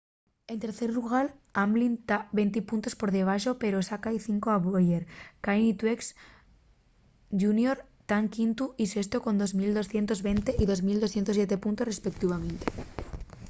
en tercer llugar hamlin ta venti puntos per debaxo pero sáca-y cinco a bowyer kahne y truex jr tán quintu y sestu con 2.220 y 2.207 puntos respeutivamente